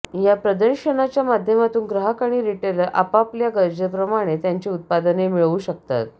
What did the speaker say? या प्रदर्शनाच्या माध्यमातून ग्राहक आणि रिटेलर आपापल्या गरजेप्रमाणे त्यांची उत्पादने मिळवू शकतात